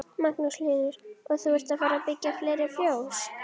Við hlið hennar lá grasajárnið og tréskjóla full af jurtum.